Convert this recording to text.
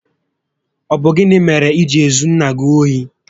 Ọ bụ gịnị mèrè iji ezu nné gị ohi?